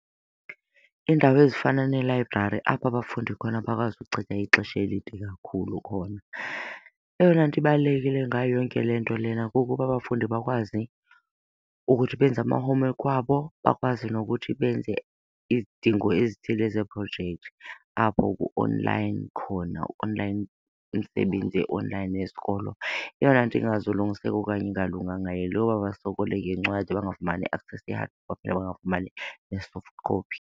Iindawo ezifana neelayibrari apho abafundi khona bakwazi ukuchitha ixesha elide kakhulu khona. Eyona nto ibalulekileyo ngayo yonke le nto lena kukuba abafundi bakwazi ukuthi benze ama-homework wabo bakwazi nokuthi benze izidingo ezithile zeeprojekthi apho ku-online khona, online umsebenzi e-online yesikolo. Eyona nto ingazulungiseka okanye ingalunganga yile yoba basokole ngencwadi bangafumani access ye-hard copy, bangafumanai ne-soft copy.